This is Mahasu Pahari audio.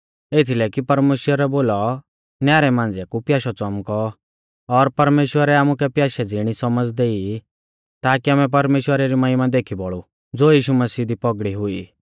एथीलै कि परमेश्‍वरै बोलौ न्यारै मांझ़िया कु प्याशौ च़ौमकौ और परमेश्‍वरै आमुकै प्याशै ज़िणी सौमझ़ देई ताकी आमै परमेश्‍वरा री महिमा देखी बौल़ु ज़ो यीशु मसीह दी पौगड़ी हुई